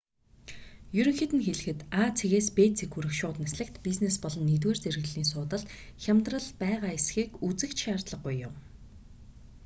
ерөнхийд нь хэлэхэд а цэгээс б цэг хүрэх шууд нислэгт бизнес болон нэгдүгээр зэрэглэлийн суудалд хямдрал байгаа эсхийг үзэх ч шаардлаггүй юм